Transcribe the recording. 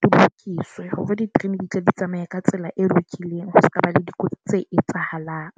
di lokiswe hore di-train di tlo di tsamaya ka tsela e lokileng. Ho sekaba le dikotsi tse etsahalang.